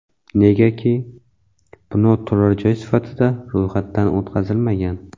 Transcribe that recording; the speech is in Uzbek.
Negaki bino turar joy sifatida ro‘yxatdan o‘tkazilmagan.